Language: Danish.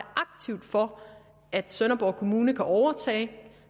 aktivt for at sønderborg kommune kan overtage